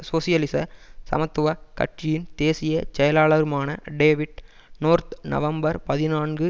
சோசியலிச சமத்துவ கட்சியின் தேசிய செயலாளருமான டேவிட் நோர்த் நவம்பர் பதினான்கு